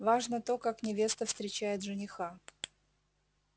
важно то как невеста встречает жениха